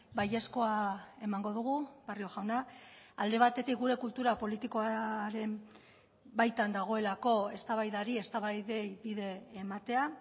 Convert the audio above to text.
baiezkoa emango dugu barrio jauna alde batetik gure kultura politikoaren baitan dagoelako eztabaidari eztabaidei bide ematea